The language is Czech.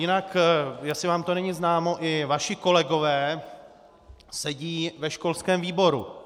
Jinak jestli vám to není známo, i vaši kolegové sedí ve školském výboru.